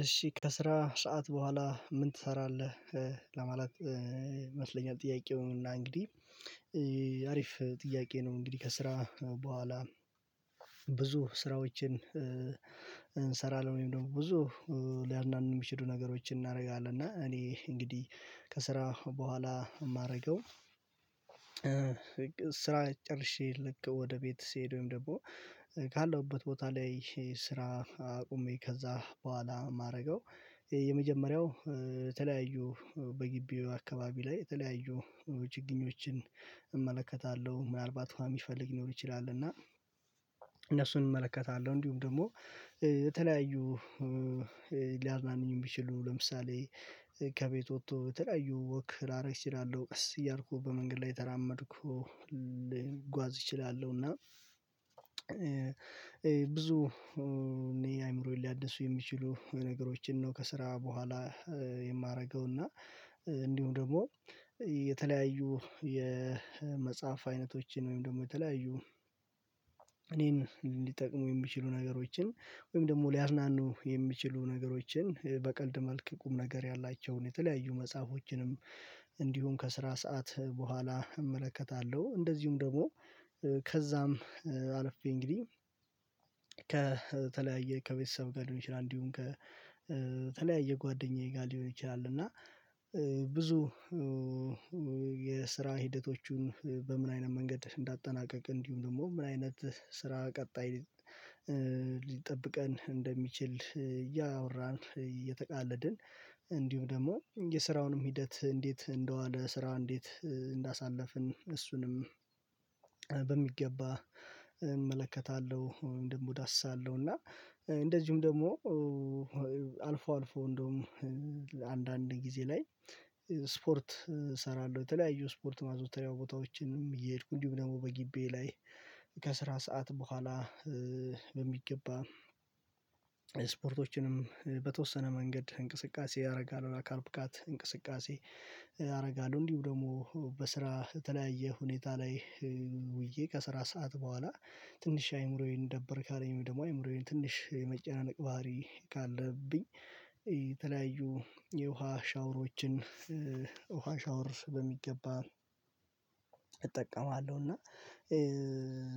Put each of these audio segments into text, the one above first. እሺ ከስራ ሰዓት በኋላ ምን ትሰራለህ? ለማለት ይመስለኛል ጥያቄውን እና እንግዲህ አሪፍ ጥያቄ ነው። እንግዲህ ከስራ በኋላ ስራዎችን እንሰራለን ብዙ ሊያናንብ የሚችሉ ነገሮችን እናደርጋለን እና እኔ እንግዲህ ከስራ በኋላ የማደርገው ስራ ጨርሼ ልክ ወደ ቤት ስሄደውም ደግሞ ካለሁበት ቦታ ላይ ስራ አቁሜ ከዛ በኋላ የማደርገው የመጀመሪያው የተለያዩ በግቢው አካባቢ ላይ የተለያዩ ውጭ ግኞችን እመለከታለሁ ምናልባት እንደሚፈልግ ሊኖር ይችላል። እና እመለከታለሁ እንዲሁም ደግሞ የተለያዩ ሊያዝናኑኝ የሚችሉ ለምሳሌ ከቤት ወጥቶ በተለያዩ ወክ ላደርግ እችላለሁ እያልኩ በመንገድ ላይ ተራመድኩ ለጓዝ እችላሉ እና ብዙ እኔ አይምሮዬን ሊያድሱ የሚችሉ ነገሮችን ነው። ከስራ በኋላ የማደርገው እና እንዲሁም ደግሞ የተለያዩ የመጽሐፍ አይነቶችን ወይም ደግሞ የተለያዩ እኔን እንዲጠቅሙ የምችሉ ነገሮችን ወይም ደግሞ ሊያዝናኑ የሚችሉ ነገሮችን በቀልድ መልክ ቁም ነገር ያላቸውን የተለያዩ መጽሐፎችንም እንዲሁም ከስራ ሰዓት በኋላ እመለከታለሁ። እንደዚሁም ደግሞ ከዛም አለፍኩኝ እንግዲህ ከተለያየ ከቤተሰብ ጋር ደግሞ ይችላል እንዲሁም ከተለያየ ጓደኛዬ ጋር ሊሆን ይችላል። እና ብዙ የስራ ሂደቶቹን በምን አይነት መንገድ እንዳጠናቀቅ እንዲሁም ደግሞ ምን አይነት ስራ ቀጣይ ሊጠብቀን እንደሚችል እያወራን እየተቃለድን እንዲሁ ደግሞ የስራውንም ሂደት እንዴት እንደሆን ስራው እንዴት እንዳሳለፍን እሱንም በሚገባ እመለከታለሁ። ደግሞ እዳስታለሁ እና እንደዚሁም ደግሞ አልፎ አልፎ እንደውም አንዳንድ ጊዜ ላይ ስፖርት እሰራለሁ በተለያዩ ስፖርት ማዞተሪያው ቦታዎችንም እየሄድኩ እንዲሁም ደግሞ በግቢ ላይ ከስራ ሰዓት በኋላ በሚገባ ስፖርቶችንም በተወሰነ መንገድ እንቅስቃሴ ያደርጋል አካል ብቃት እንቅስቃሴ አደርጋለሁ። እንዲሁ ደግሞ በስራ የተለያየ ሁኔታ ላይ ውዬ ከስራ ሰዓት በኋላ ትንሽ አይምሮዬን ደበር ካለኝ ደግሞ አይምሮዬን ትንሽ የመጨነቅ ባህሪ ካለብኝ የተለያዩ የውሃ ሻወሮችን ውሃ ሻወር በሚገባ እጠቀማለሁ እና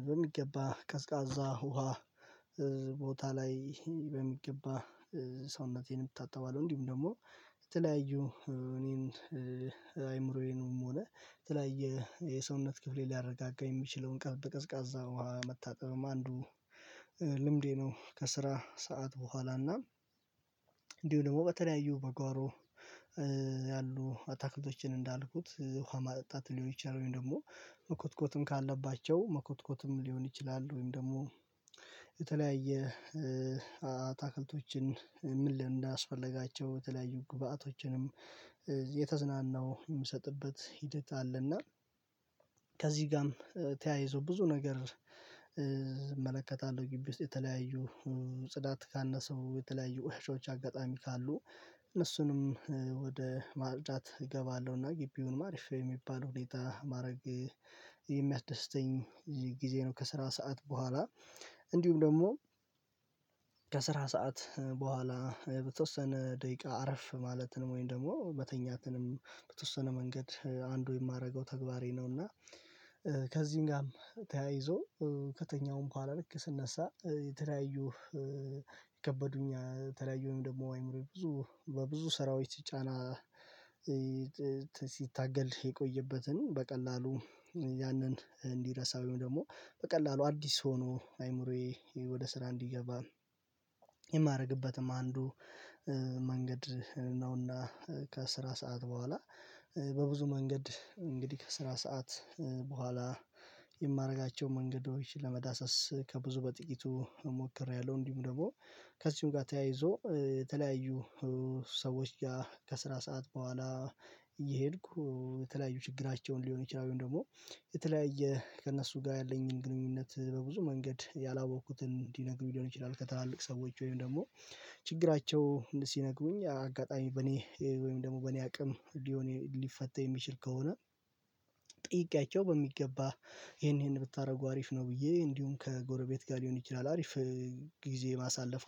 በሚገባ ቀዝቃዛ ውሃ ቦታ ላይ በሚገባ ሰውነቴንም ታጠባለው እንዲሁም ደግሞ የተለያዩ እኔን አይምሮዬንም ሆነ የተለያየ የሰውነት ክፍሌ ሊያረጋጋው የሚችለውን ቀዝቃዛ ውሃ መታጠብም አንዱ ልምዴ ነው። ከስራ ሰዓት በኋላ እና እንዲሁ ደግሞ በተለያዩ በጓሮ ያሉ አታክልቶችን እንዳልኩት ውሃ ማጠጣት ሊሆን ይችላል ወይም ደግሞ መኮትኮትም ካለባቸው መኮትኮትም ሊሆን ይችላል ወይም ደግሞ የተለያየ አታክልቶችን ምን ልምድ እንዳስፈለጋቸው የተለያዩ ግብአቶችንም የተዝናናው የምሰጥበት ሂደት አለና። ከዚህ ጋርም ተያይዞ ብዙ ነገር እመለከታለሁ ግቢ ውስጥ የተለያዩ ጽዳት ካነሰው ውሾች አጋጣሚ ካሉ እነሱንም ወደ ማርዳት እገባለሁና ግቢውንም አሪፍ የሚባለው ሁኔታ ማድረግ የሚያስደስተኝ ጊዜ ነው። ከስራ ሰዓት በኋላ እንዲሁም ደግሞ ከስራ ሰዓት በኋላ በተወሰነ ደቂቃ አረፍ ማለት ነው ወይም ደግሞ መተኛትንም በተወሰነ መንገድ አንዱ የማደርገው ተግባሬ ነው። እና ከዚህም ጋርም ተያይዞ ከተኛውም እንኳን ለክ ስነሳ የተለያዩ ይከበዱኛል ተለያዩም ደግሞ አይምሮዬ ብዙ በብዙ ስራዎች ሲጫና ሲታገል የቆየበትን በቀላሉ ያንን እንዲረሳ ወይም ደግሞ በቀላሉ አዲስ ሆኖ አይምሮዬ ወደ ስራ እንዲገባ የማደርግበትም አንዱ መንገድ ነውና። ከስራ ሰዓት በኋላ በብዙ መንገድ እንግዲህ ከስራ ሰዓት በኋላ የማደርጋቸው መንገዶችን ለመዳሰስ ከብዙ በጥቂቱ እሞክሬያለሁ። እንዲሁ ደግሞ ከዚሁም ጋር የተለያዩ ሰዎች ጋር ከስራ ሰዓት በኋላ እየሄድኩ የተለያዩ ችግራቸውን ሊሆን ይችላል ደግሞ የተለያየ ከእነሱ ጋር ያለኝን ግንኙነት በብዙ መንገድ ያላወቅኩትን እንዲነግሩ ሊሆን ይችላል። ከትላልቅ ሰዎች ወይም ደግሞ ችግራቸው ሲነግሩኝ አጋጣሚ በኔ ወይም ደግሞ በኔ አቅም ሊፈተው የሚችል ከሆነ ጥይቄያቸው በሚገባ ይሄን ይሄን ብታደርጉ አሪፍ ነው ብዬ እንዲሁም ከጎረቤት ጋር ሊሆን ይችላል። አሪፍ ጊዜ ማሳለፍ